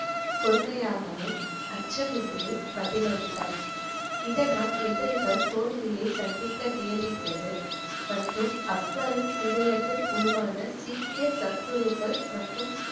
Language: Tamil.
பொறுமையாகவும், அச்சமின்றியும் பதிலளித்தார் இதனால் எதிரிகள் தோல்வியை சந்திக்க நேரிட்டது மற்றும் அக்பரின் இதயத்தில் உருவான சீக்கிய சத்குருக்கள் மற்றும்.